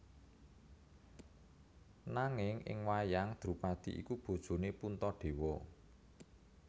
Nanging ing wayang Drupadhi iku bojone Puntadewa